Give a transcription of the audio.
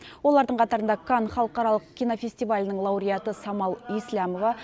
олардың қатарында кан халықаралық кинофестивалінің лауреаты самал есләмова